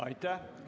Aitäh!